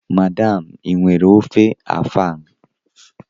Madam, ị nwere ofe afang?